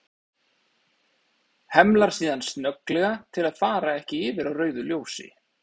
Hemlar síðan snögglega til að fara ekki yfir á rauðu ljósi.